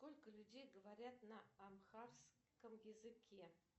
сколько людей говорят на амхарском языке